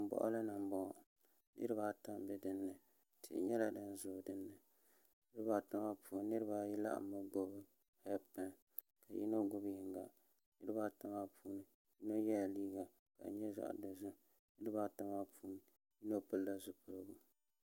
Salin boɣali ni n boŋo niraba ata n bɛ dinni tihi nyɛla din ʒɛ dinni niraba ata maa puuni niraba ayi nyɛla bin gbuni heed pai ka yino gbubi yinga niraba ata maa puuni yino yɛla liiga ka di nyɛ zaɣ dozim niraba ata maa puuni yino pilila zipiligu